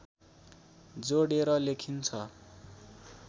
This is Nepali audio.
जोडेर लेखिन्छ